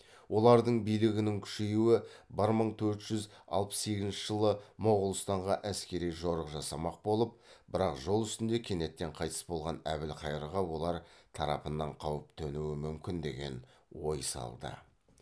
олардың билігінің күшеюі бір мың төрт жүз алпыс сегізінші жылы моғолстанға әскери жорық жасамақ болып бірақ жол үстінде кенеттен қайтыс болған әбілқайырға олар тарапынан қауіп төнуі мүмкін деген ой салды